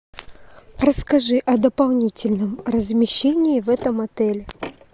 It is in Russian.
расскажи о дополнительном размещении в этом отеле